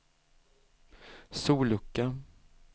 sollucka